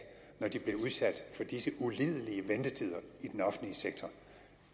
når de blev udsat for disse ulidelige ventetider i den offentlige sektor